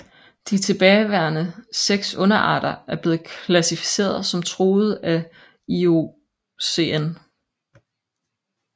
De tilbageværende seks underarter er blevet klassificeret som truede af IUCN